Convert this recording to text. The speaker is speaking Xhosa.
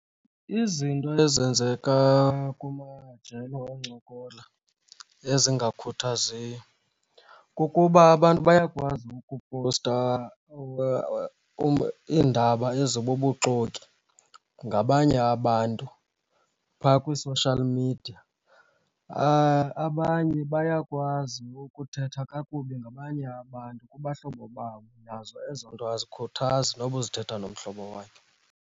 Izinto ezenzeka kumajelo okuncokola ezingakhuthaziyo kukuba abantu bayakwazi ukupowusta iindaba ezibubuxoki ngabanye abantu phaa kwii-social media. Abanye bayakwazi ukuthetha kakubi ngabanye abantu kubahlobo babo. Nazo ezo nto azikhuthazi noba uzithetha nomhlobo wakho.